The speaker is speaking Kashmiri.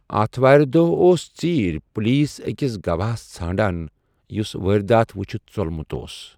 آتھوارِ دوہ اوس ژیرِ پوٗلیس اكِس گوایہس ژھانڈان ، یُس وٲرِداتھ وُچھِتھ ژولمُت اوس ۔